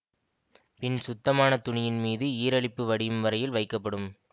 பின் சுத்தமான துணியின் மீது ஈரலிப்பு வடியும் வரையில் வைக்கப்படும்